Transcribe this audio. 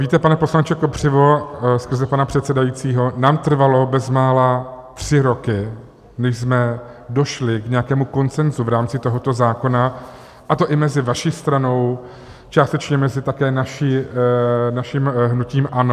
Víte, pane poslanče Kopřivo, skrze pana předsedajícího, nám trvalo bezmála tři roky, než jsme došli k nějakému konsenzu v rámci tohoto zákona, a to i mezi vaší stranou, částečně také mezi naším hnutím ANO.